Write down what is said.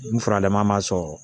N furanlen ma sɔrɔ